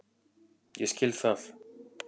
Ég skil það.